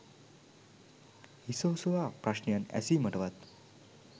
හිස ඔසවා ප්‍රශ්නයන් ඇසිමටවත්